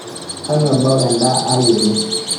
kanu embau endaa aai ene